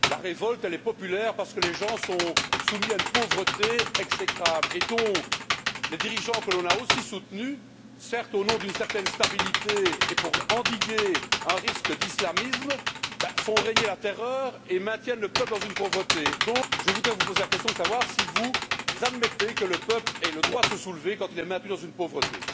La révolte est populaire parce que les gens sont soumis à une pauvreté exécrable, et donc, les dirigeants que l'on a soutenus, certes au nom d'une certaine stabilité et pour endiguer un risque d'islamisme, font régner la terreur et maintiennent le peuple dans une pauvreté. Je voudrais donc vous demander si vous admettez que le peuple ait le droit de se soulever quand il est maintenu dans une pauvreté.